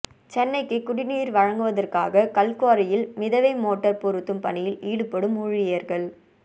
சென்னைக்கு குடிநீர் வழங்குவதற்காக கல்குவாரியில் மிதவை மோட்டார் பொருத்தும் பணியில் ஈடுபடும் ஊழியர்கள்